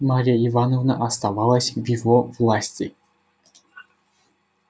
марья ивановна оставалась в его власти